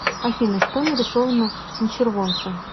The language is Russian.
афина что нарисовано на червонце